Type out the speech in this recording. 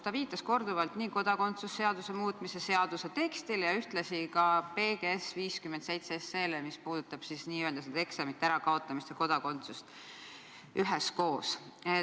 Ta viitas korduvalt nii kodakondsuse seaduse muutmise seaduse eelnõu tekstile kui ka PGS-i eelnõule 57, mis puudutab n-ö eksamite ärakaotamist ja kodakondsust üheskoos.